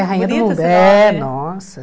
É Rainha do Mundo, é, nossa.